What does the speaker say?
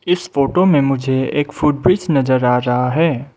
इस फोटो में मुझे एक फुटब्रिज नजर आ रहा है।